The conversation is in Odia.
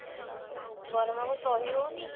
ଗରମ କୁ ସହି ହଉନି